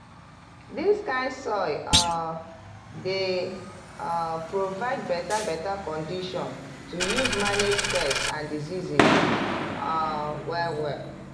dis kind soil um dey um provide beta beta condition to use manage pest and disease um well well.